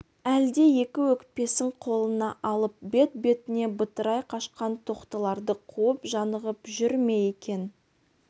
әлде екі өкпесін қолына алып бет-бетіне бытырай қашқан тоқтыларды қуып жанығып жүр ме екен